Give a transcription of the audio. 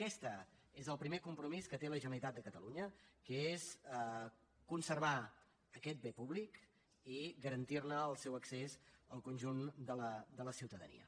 aquest és el primer compromís que té la generalitat de catalunya que és conservar aquest bé públic i garantir ne el seu accés al conjunt de la ciutadania